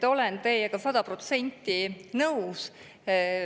Olen teiega sada protsenti nõus.